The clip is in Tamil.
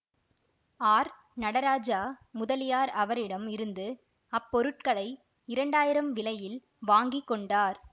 ஆர் நடராஜா முதலியார் அவரிடம் இருந்து அப்பொருட்களை இரண்டாயிரம் விலையில் வாங்கி கொண்டார்